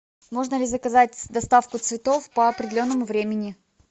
можно ли заказать доставку цветов по определенному времени